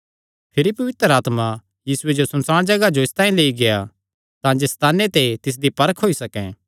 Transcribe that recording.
भिरी पवित्र आत्मा यीशुये जो सुनसाण जगाह जो इसतांई लेई गेआ तांजे सैताने ते तिसदी परख होई सकैं